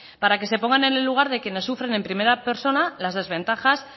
para que se pongan en el lugar de quienes sufren en primera persona las desventajas